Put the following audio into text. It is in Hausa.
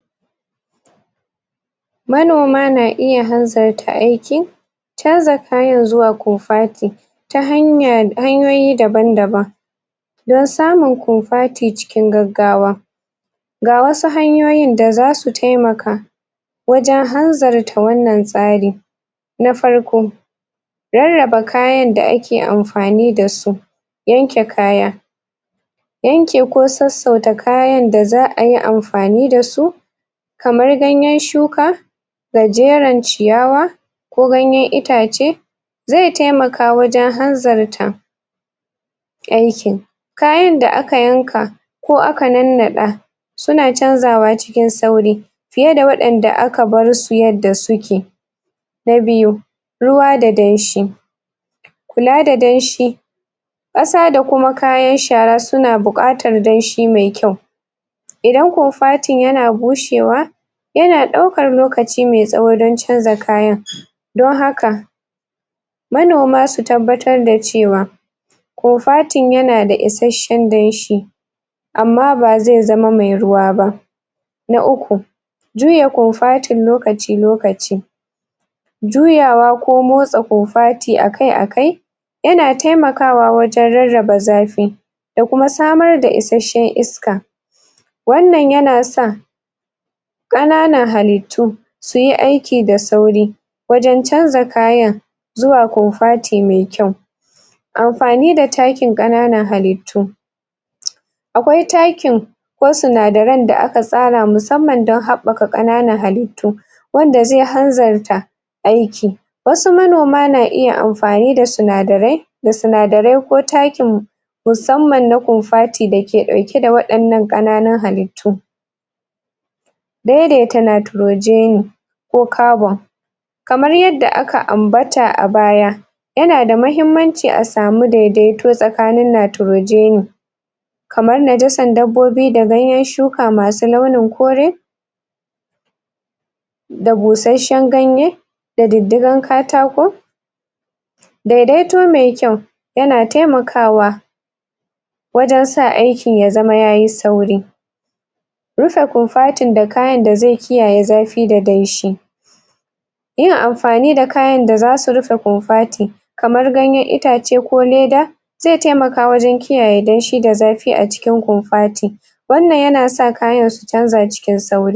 Manoma na iya hanzarta aiki canza kayan zuwa kofati ta hanyoyi daban-daban don samun kofati cikin gaggawa ga wasu hanyoyin da zasu taimaka wajen hanzarta wannan tsari na farko, rarraba kayan da ake amfani da su yanke kaya yanke ko sassauta kayan da za'a yi amfani da su kamar ganyen shuka gajeren ciyawa ko ganyen itace zai taimaka wajen hanzarta aikin kayan da aka yanka ko aka nannaɗa suna canzawa cikin sauri fiye da waɗanda aka bar su yadda suke na biyu, ruwa da danshi kula da danshi ƙasa da kuma kayan shara suna buƙatar danshi mai kyau idan kofatin yana bushewa yana ɗaukar lokaci mai tsawo dan canza kaya don haka manoma su tabbatar da cewa kofatin yana da isashen danshi amma ba zai zama mai ruwa ba na uku, juya kofatin lokaci-lokaci juyawa ko motsa kofati akai-akai yana taimakawa wajen rarraba zafi ya kuma samar da isashen iska wannan yana sa ƙananan halittu su yi aiki da sauri wajen canza kayan zuwa kofati mai kyau amfani da takin ƙananan halittu akwai takin ko sinadaran da aka tsara musamman dan haɓɓaka ƙananan halittu wanda zai hanzarta aiki wasu manoma na iya amfani da sinadarai da sinadarai ko takin musamman na kofati dake ɗauke da waɗannan ƙananun halittu daidaita nitrogeni ko carbon kamar yadda aka ambata a baya yana da mahimmanci a samu daidaito tsakanin nitrogeni kamar najasan dabbobi da ganyen shuka masu launin kore da busashen ganye da diddigan katako daidaito me kyau yana taimakawa wajen sa aiki ya zama yayi sauri bisa kofatin da kayan da zai kiyaye zafi da danshi yin amfani da kayan da zasu rufe kofati kamar ganyen itace ko leda zai taimaka wajen kiyaye danshi da zafi a cikin kofati wannan yana sa kayan su canza cikin sauri.